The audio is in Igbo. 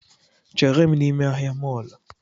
Chere m n’ime ahịa mọlụ